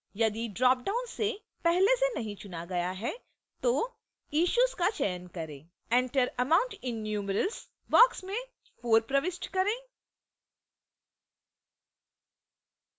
यदि ड्रॉपडाउन से पहले से नहीं चुना गया है तो issues का चयन करें enter amount in numerals box में 4 प्रविष्ट करें